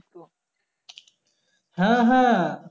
হ্যাঁ হ্যাঁ